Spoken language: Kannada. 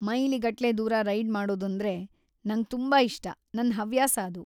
ಮೈಲಿಗಟ್ಲೆ ದೂರ ರೈಡ್‌ ಮಾಡೋದಂದ್ರೆ ನಂಗ್‌ ತುಂಬಾ ಇಷ್ಟ, ನನ್‌ ಹವ್ಯಾಸ ಅದು.